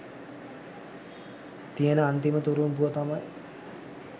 තියන අන්තිම තුරුම්පුව තමයි